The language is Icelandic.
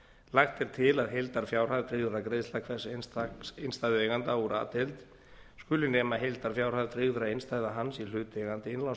lagt er til að heildarfjárhæð tryggðra greiðslna hvers einstaks innstæðueiganda úr a deild skuli nema heildarfjárhæð tryggðra innstæðna hans í hlutaðeigandi